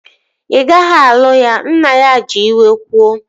Ị gaghị alụ ya! Nna ya ji iwe kwuo